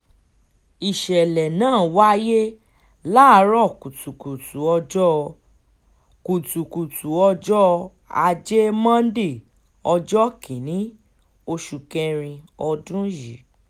ìṣẹ̀lẹ̀ náà wáyé láàárọ̀ kùtùkùtù ọjọ́ kùtùkùtù ọjọ́ ajé monde ọjọ́ kìn-ín-ní oṣù kẹrin ọdún yìí